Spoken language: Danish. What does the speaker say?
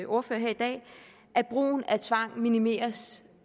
ordførere her i dag at brugen af tvang minimeres